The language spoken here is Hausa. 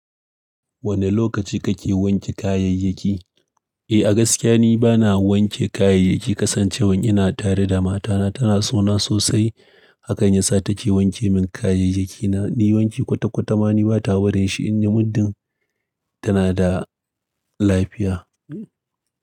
Wane lokaci kake wanke kayayyaki? Eh, a gaskiya ni bana wanke kayayyaki kasancewan ina tare da matana tana sona sosai. Hakanya sa take wanke min kayayyakina. Ni wanke kwata-kwata ma ni bata barin shi inde muddin tana da lafiya.